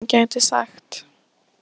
Hann vissi ekki hvað hann gæti sagt.